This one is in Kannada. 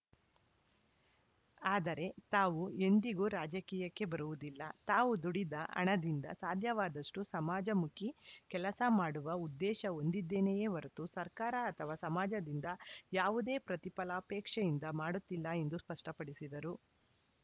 ಆದರೆ ತಾವು ಎಂದಿಗೂ ರಾಜಕೀಯಕ್ಕೆ ಬರುವುದಿಲ್ಲ ತಾವು ದುಡಿದ ಹಣದಿಂದ ಸಾಧ್ಯವಾದಷ್ಟುಸಮಾಜಮುಖಿ ಕೆಲಸ ಮಾಡುವ ಉದ್ದೇಶ ಹೊಂದ್ದಿದೇನೆಯೆ ಹೊರತು ಸರ್ಕಾರ ಅಥವಾ ಸಮಾಜದಿಂದ ಯಾವುದೇ ಪ್ರತಿಫಲಾಪೇಕ್ಷೆಯಿಂದ ಮಾಡುತ್ತಿಲ್ಲ ಎಂದು ಸ್ಪಷ್ಟಪಡಿಸಿದರು